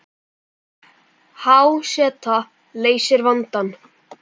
Há seta leysir vandann